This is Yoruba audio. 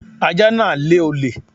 Ajá náà lé olè